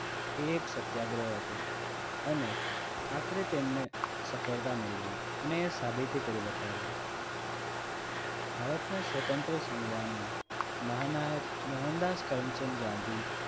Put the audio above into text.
એક સત્યાગ્રહ હતો અને આખરે તેમને સફળતા મેળવી અને સાબિતી કરી બતાવ્યું. ભારતના સ્વતંત્ર સંગ્રામમાં મહાનાયક મોહનદાસ કરમચંદ ગાંધી